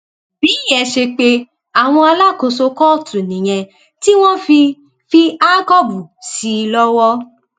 bíyẹn ṣe pé àwọn alákòóso kóòtù nìyẹn tí wọn fi fi àkọọbù sí i lọwọ